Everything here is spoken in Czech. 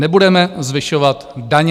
Nebudeme zvyšovat daně.